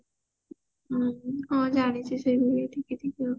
ଉଁ ହଁ ଜାଣିଛି ସବୁ ଟିକେ ଟିକେ